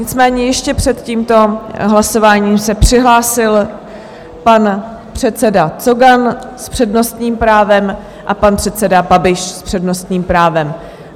Nicméně ještě před tímto hlasováním se přihlásil pan předseda Cogan s přednostním právem a pan předseda Babiš s přednostním právem.